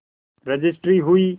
registry हुई